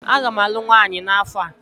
Aga m alụ nwanyị n'afọ a.